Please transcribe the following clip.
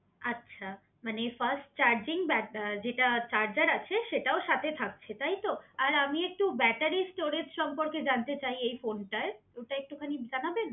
আচ্ছা মানে fast charging but যেটা চার্জার আছে সেটাও সাথে থাকছে তাইতো? আর আমি একটু ব্যাটারি স্টোরেজ সম্পর্কে জানতে চাই এই ফোনটার ওটা একটুখানি জানাবেন?